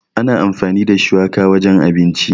Ana amfani da shuwaka wajen abinci.